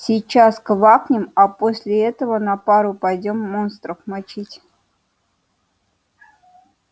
сейчас квакнем а после этого на пару пойдём монстров мочить